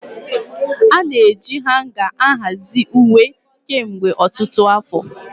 Ana-eji hanga ahazie uwe kemgbe ọtụtụ afọ.